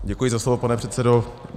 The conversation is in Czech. Děkuji za slovo, pane předsedo.